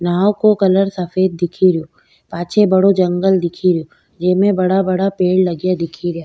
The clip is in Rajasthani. नाँव को कलर सफ़ेद दिखेरो पाछे बड़ो जंगल दिखेरो जेमे बड़ा बड़ा पेड़ लगया दिखे रिया।